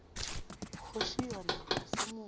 kgoši yona ga se motho